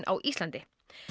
á Íslandi